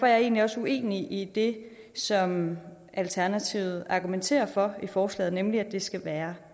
jeg egentlig også uenig i det som alternativet argumenterer for i forslaget nemlig at det skal være